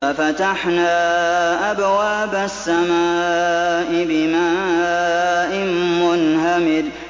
فَفَتَحْنَا أَبْوَابَ السَّمَاءِ بِمَاءٍ مُّنْهَمِرٍ